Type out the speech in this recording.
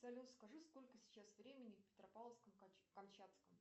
салют скажи сколько сейчас времени в петропавловске камчатском